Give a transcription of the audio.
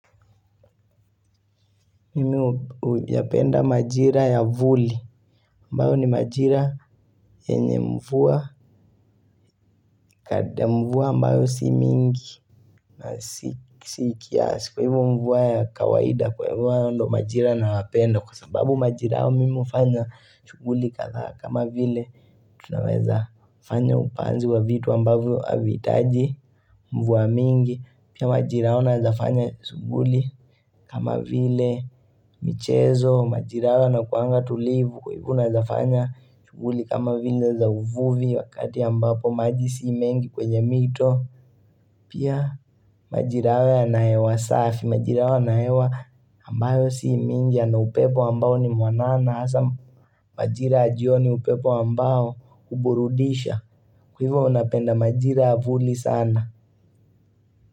Mimi huyapenda maajira ya vuli ambao ni maajira yenye mvua Kadri mvua ambao si mingi na si kiasi hivyo mvua ya kawaida huwa ndio maajira nayapenda kwa sababu maajira hayo mimi hufanya shuguli kadhaa kama vile tunaweza fanya upanzi wa vitu ambavyo havihitaji Mvua mingi pia maajira hayo naweza fanya suguli kama vile michezo, maajira hayo yanakuanga tulivu Kwa ivo naeza fanya chuguli kamavile za uvuvi Wakati ambapo maji si mengi kwenye mito Pia majira haya na hewa safi. Maajira haya na hewa ambayo si mingi yana upepo ambayo ni mwanana hasa maajira ya jioni upepo ambayo huburudisha Kwa hivyo napenda maajira ya vuli sana.